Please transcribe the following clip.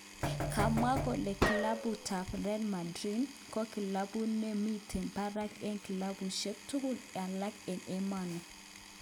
Kamwa kole kilabut tab Real Madrid ko kilabut nemiten barak eng kilabushek tugul alak eng emoni.